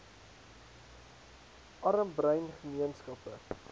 arm bruin gemeenskappe